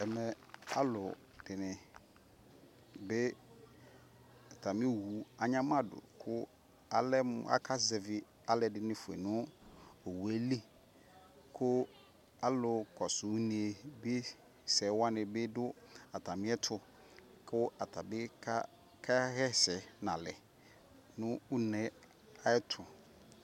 ɛmɛ alʋ dini bi atami ɔwʋ anyama dʋ kʋ alɛmʋ aka zɛvi alʋɛdini ƒʋɛ nʋ ɔwʋɛli kʋalʋ kɔsʋ ʋnɛ bi sɛ wani bidʋ atami ɛtʋ kʋ atabi kayɛsɛ nʋ alɛ nʋ ʋnɛ ayɛtʋ